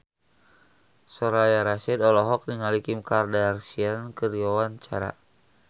Soraya Rasyid olohok ningali Kim Kardashian keur diwawancara